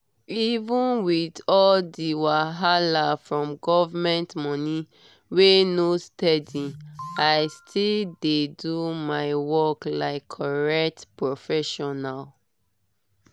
even with all the wahala from government money wey no steady i still dey do my work like correct professional.